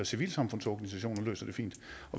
civilsamfundsorganisationer der løser dem fint